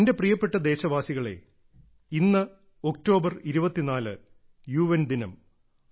എന്റെ പ്രിയപ്പെട്ട ദേശവാസികളേ ഇന്ന് ഒക്ടോബർ 24 യുഎൻ ദിനം